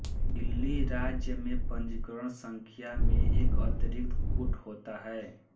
दिल्ली राज्य में पंजीकरण संख्या में एक अतिरिक्त कूट होता है